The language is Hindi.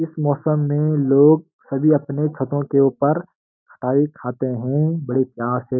इस मौसम में लोग सभी अपने छतों के ऊपर खटाई खाते हैं बड़े प्यार से।